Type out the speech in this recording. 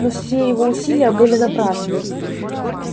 но все его усилия были напрасны